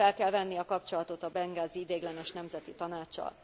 Hogy fel kell venni a kapcsolatot a bengázi ideiglenes nemzeti tanáccsal.